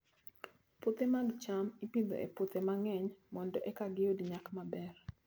Puothe mag cham ipidho e puothe mang'eny mondo eka giyud nyak maber.